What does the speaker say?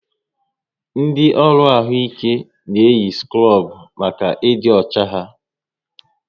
Ndị ọrụ ahụike na-eyi skrub maka ịdị ọcha ha